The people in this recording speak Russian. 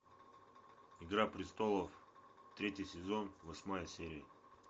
игра престолов третий сезон восьмая серия